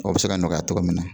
O bɛ se ka nɔgɔya cogo min na